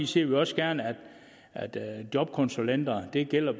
ser vi også gerne at at jobkonsulenterne det gælder a